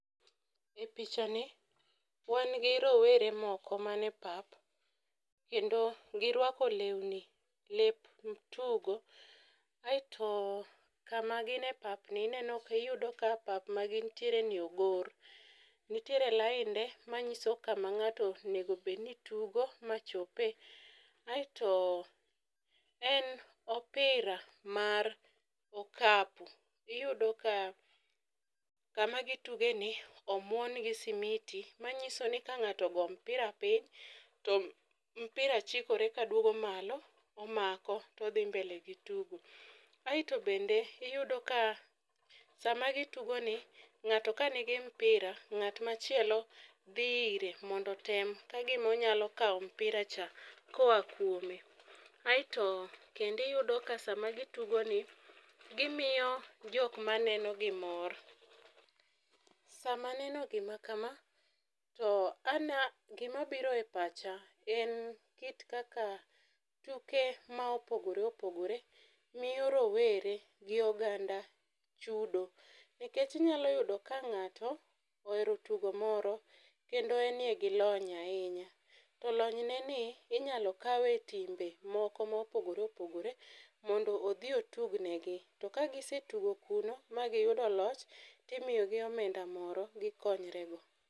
E picha ni wan gi rowere moko mane pap, kendo girwako lewni lep tugo. Aeto kama gin e pap ni ineno iyudo ka pap ma gintiere ni ogor. Nitiere lainde ma nyiso kama ng'ato onegobedni tugo ma chope, aeto en opira mar okapu. Iyudo ka kama gituge ni omuon gi simiti, manyiso ni ka ng'ato ogo mpira piny, to mpira chikore ka duogo malo omako todhi mbele gi tugo. Aeto bende iyudo ka sama gitugo ni, ng'ato ka nigi mpira, ng'at machielo dhi ire mondo otem ka gima onyalo kawo mpira cha koa kuome. Aeto kendiyudo ka sama gitugo ni, gimiyo jok ma nenogi mor. Sama aneno gima kama, to ana gima biro e pacha gin kit kaka tuke ma opogore opogore miyo rowere gi oganda chudo. Nikech inyalo yudo ka ng'ato ohero tugo moro, kendo eniye gi lony ahinya. To lonyne ni inyalo kawe timbe moko mopogore opogore mondo odhi otugnegi. To ka gisetugo kurno ma giyudo loch, timiyogi omenda moro gikonyre go.